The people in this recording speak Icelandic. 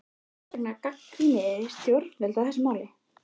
Hvers vegna gagnrýnið þið stjórnvöld í þessu máli?